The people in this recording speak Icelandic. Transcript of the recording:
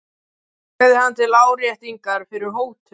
sagði hann til áréttingar fyrri hótun.